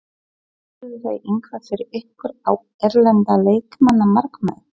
Leituðuð þið eitthvað fyrir ykkur á erlenda leikmannamarkaðnum?